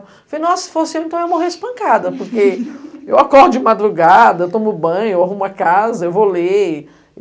Eu falei, nossa, se fosse eu, então eu ia morrer espancada, porque eu acordo de madrugada, eu tomo banho, eu arrumo a casa, eu vou ler.